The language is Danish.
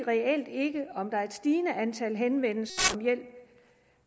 stigende antal henvendelser